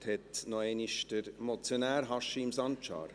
Das Wort hat noch einmal der Motionär, Haşim Sancar.